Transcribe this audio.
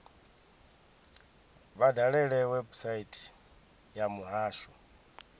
vha dalele website ya muhasho